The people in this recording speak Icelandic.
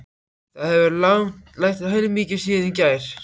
Það hefur lægt heilmikið síðan í gær.